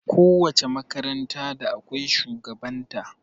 Ko wace makaranta da akwai shugaban ta